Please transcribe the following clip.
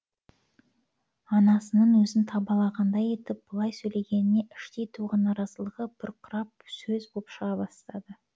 анасының өзін табалағандай етіп бұлай сөйлегеніне іштей туған наразылығы бұрқырап сөз боп шыға бастады